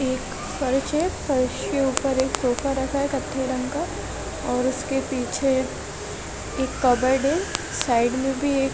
एक फर्श है फर्श के उपर एक सोफा रखा है कत्थे रंग का और उसके पीछे कबर्ड है साइड में भी एक--